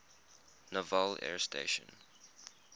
naval air station